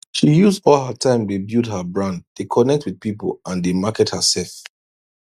she use all her time dey build her brand dey connect with people and dey market hersef